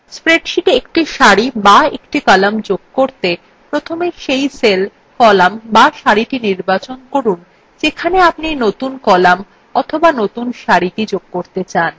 স্প্রেডশীটে একটি সারি be একটি column যোগ করতে প্রথমে cell cell column be সারি নির্বাচন করুন যেখানে আপনি নতুন column অথবা একটি নতুন সারি যুক্ত করতে চান